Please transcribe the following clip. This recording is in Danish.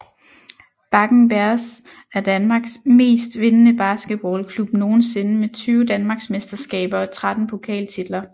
Bakken Bears er danmarks mest vindende basketballklub nogensinde med 20 danmarksmesterskaber og 13 pokaltitler